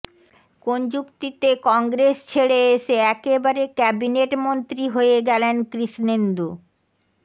কোন যুক্তিতে কংগ্রেস ছেড়ে এসে একেবারে ক্যাবিনেট মন্ত্রী হয়ে গেলেন কৃষ্ণেন্দু